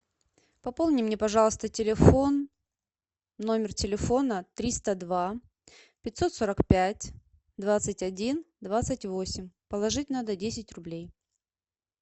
пополни мне пожалуйста телефон номер телефона триста два пятьсот сорок пять двадцать один двадцать восемь положить надо десять рублей